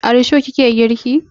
A risho ki ke girki?